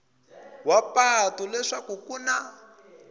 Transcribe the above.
wa patu leswaku ku na